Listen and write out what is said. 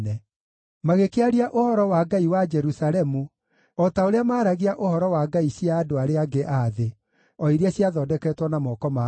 Magĩkĩaria ũhoro wa Ngai wa Jerusalemu o ta ũrĩa maaragia ũhoro wa ngai cia andũ arĩa angĩ a thĩ, o iria ciathondeketwo na moko ma andũ.